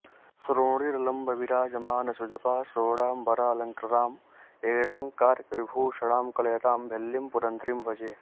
श्रोणी लम्ब विराजमान सुजपा शोणाम्बरालङ्कृतां एणाङ्कार्क विभूषणां कलयतां भिल्लीं पुरन्ध्रीम्भजे